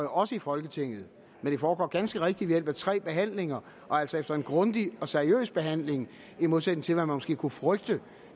også i folketinget men det foregår ganske rigtigt ved hjælp af tre behandlinger og altså efter en grundig og seriøs behandling i modsætning til hvad man måske kunne frygte